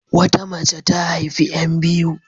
Wata mace ta haifi 'yan biyu.